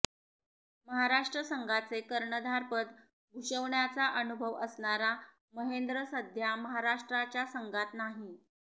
महाराष्ट्र संघाचे कर्णधारपद भूषवण्याचा अनुभव असणारा महेंद्र सध्या महाराष्ट्राच्या संघात नाही